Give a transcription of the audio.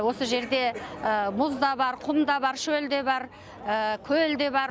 осы жерде мұз да бар құм да бар шөл де бар көл де бар